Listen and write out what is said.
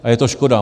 A je to škoda.